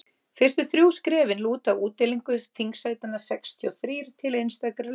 fyrstu þrjú skrefin lúta að útdeilingu þingsætanna sextíu og þrír til einstakra lista